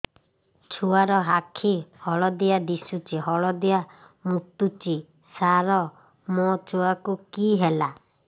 ଛୁଆ ର ଆଖି ହଳଦିଆ ଦିଶୁଛି ହଳଦିଆ ମୁତୁଛି ସାର ମୋ ଛୁଆକୁ କି ହେଲା